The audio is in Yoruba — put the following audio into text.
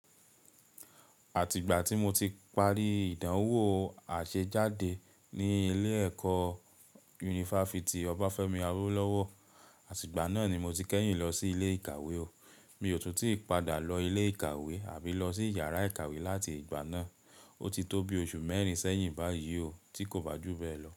Àtìgbà tí mo ti parí ìdánwò àṣejádé ní ilé ẹ̀kọ́ Yunifásítì Obáfẹ́mi Awólọ́wọ̀, àtìgbà náà ni mo ti kẹ́yìn lọ sí ilé ìkàwé o. Mi ò tún ti padà lọ ilé ìkàwé àbí lọ sí yàrá ìkàwé láti ìgbà náà. O ti tó bi oṣù mẹ́rin sẹ́yìn báyìí o tí kò bá jù bẹ́ẹ̀ lọ.